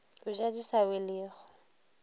o ja di sa welego